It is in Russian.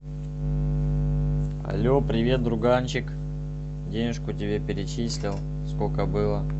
алле привет друганчик денежку тебе перечислил сколько было